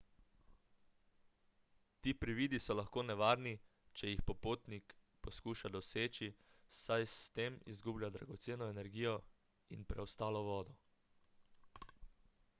ti prividi so lahko nevarni če jih popotnik poskuša doseči saj s tem izgublja dragoceno energijo in preostalo vodo